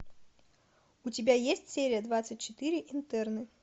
у тебя есть серия двадцать четыре интерны